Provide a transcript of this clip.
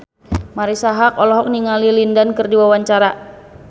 Marisa Haque olohok ningali Lin Dan keur diwawancara